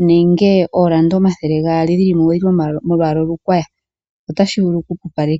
omanga ooranda omathele gaali odhi li molwaala olukwaya, otashi vulu okupupaleka.